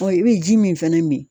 Ɔ i bɛ ji min fɛnɛ min.